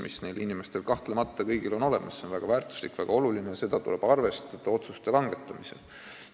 Neil mainitud inimestel on kahtlemata kõigil olemas eksperditeadmised, mis on väga väärtuslikud ja väga olulised, neid tuleb arvestada otsuste langetamisel.